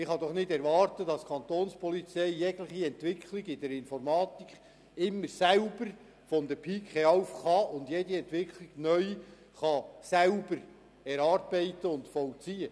Man kann doch nicht erwarten, dass die Kantonspolizei jegliche Entwicklung in der Informatik stets selbst von der Pike auf kann und jede Entwicklung neu erarbeitet und vollzieht.